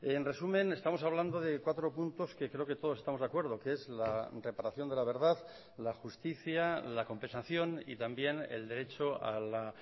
en resumen estamos hablando de cuatro puntos que creo que todos estamos de acuerdo que es la reparación de la verdad la justicia la compensación y también el derecho a la